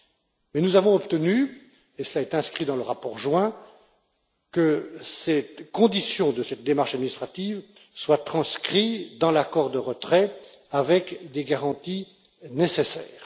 Mais nous avons obtenu et cela est inscrit dans le rapport joint que cette condition de cette démarche administrative soit transcrite dans l'accord de retrait avec les garanties nécessaires.